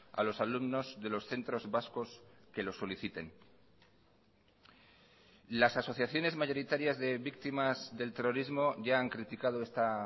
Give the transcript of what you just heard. a los alumnos de los centros vascos que lo soliciten las asociaciones mayoritarias de víctimas del terrorismo ya han criticado esta